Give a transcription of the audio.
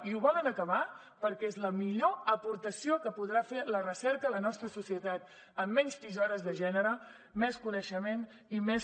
i ho volen acabar perquè és la millor aportació que podrà fer la recerca a la nostra societat amb menys tisores de gènere més coneixement i més